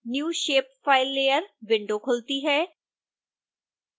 new shapefile layer window खुलती है